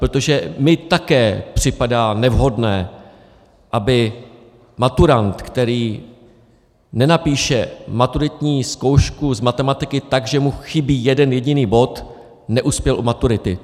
Protože mně také připadá nevhodné, aby maturant, který nenapíše maturitní zkoušku z matematiky tak, že mu chybí jeden jediný bod, neuspěl u maturity.